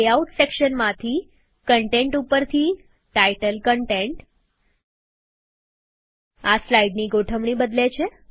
layout સેક્શનમાંથીgtgtકન્ટેન્ટ ઉપરથી title content આ સ્લાઈડની ગોઠવણી બદલે છે